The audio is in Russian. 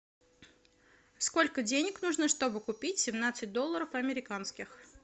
сколько денег нужно чтобы купить семнадцать долларов американских